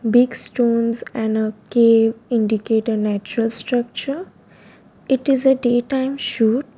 big stones and a cave indicate a natural structure it is a daytime shoot.